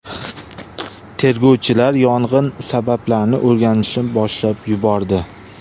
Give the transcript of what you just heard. Tergovchilar yong‘in sabablarini o‘rganishni boshlab yubordi.